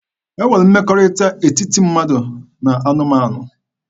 E nwere mmekọrịta n'etiti mmadụ na anụmanụ.